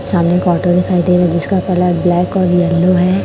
सामने एक ऑटो दिखाई दे रही जिसका कलर ब्लैक और येलो है।